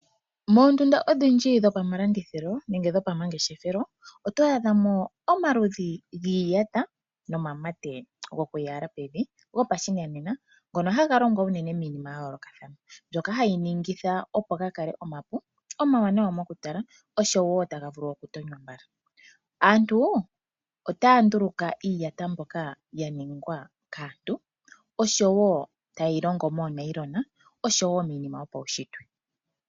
Moondunda odhindji dhopamalanditjilo nenge dhopamangeshefelo oto adha mo omaludhi giiyata nomamate gokuyala pevi gopashinanena, ngono haga longo unene miinima ya yoolokathana. Mbyoka hayi ningithaopo va kale omapu, omawanawa mokutala oshowo taga vulu okutonywa mbala. Aanru otaya nduluka iiyata mbyoka ya ningwa kaantu oshowo tayi longwa moonayilona oshowo tayi longwa miinima yo paunshitwe.